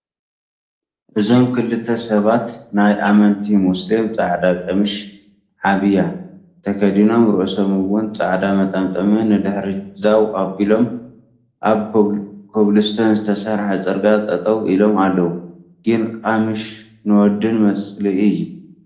እዞም ክልተ ሰባት ናይ ኣመንቲ ሞስሊም ፃዕዳ ቀሚሽ (ዓብያ) ተከዲኖም ርእሰም እውን ፃዕዳ መጠምጠም ንድሕሪት ዛው ኣቢሎም ኣብ ኮብልስተን ዝተሰርሐ ፀርግያ ጠጠው ኢሎው ኣለው። ግን ቀሚሽ ንወድን መፅልኢ እዩ።